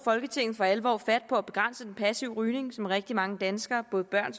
folketinget for alvor fat på at begrænse den passive rygning som rigtig mange danskere både børn